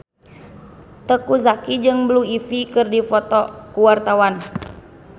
Teuku Zacky jeung Blue Ivy keur dipoto ku wartawan